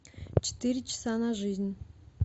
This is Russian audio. четыре часа на жизнь